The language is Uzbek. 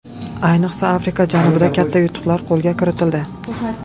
Ayniqsa Afrika janubida katta yutuqlar qo‘lga kiritildi.